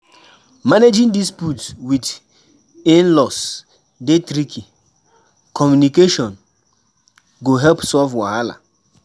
Managing disputes with in-laws dey tricky; communication go help solve wahala.